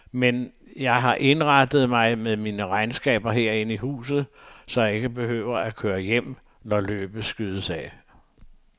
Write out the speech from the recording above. Men jeg har indrettet mig med mine regnskaber herinde i huset, så jeg ikke behøver at køre hjem, når løbet skydes af.